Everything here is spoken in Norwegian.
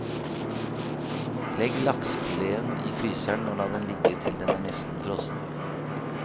Legg laksefileten i fryseren, og la den ligge til den er nesten frossen.